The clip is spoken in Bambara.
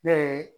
Ne ye